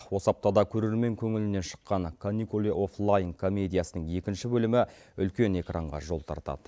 осы аптада көрермен көңілінен шыққан каникулы оффлайн комедиясының екінші бөлімі үлкен экранға жол тартады